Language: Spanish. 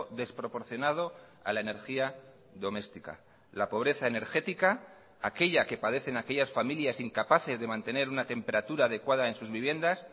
desproporcionado a la energía doméstica la pobreza energética aquella que padecen aquellas familias incapaces de mantener una temperatura adecuada en sus viviendas